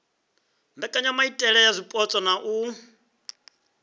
mbekanyamaitele ya zwipotso na u